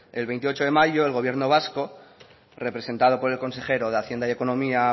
el veintiocho de mayo el gobierno vasco representado por el consejero de hacienda y economía